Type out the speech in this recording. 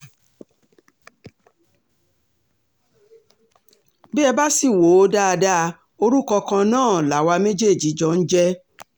bí ẹ bá sì wò ó dáadáa orúkọ kan náà làwa méjèèjì jọ ń jẹ́